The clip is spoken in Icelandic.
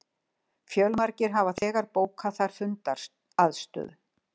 Fjölmargir hafa þegar bókað þar fundaraðstöðu